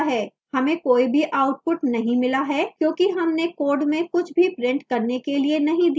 हमें कोई भी output नहीं मिला है क्योंकि हमने code में कुछ भी print करने के लिए नहीं दिया था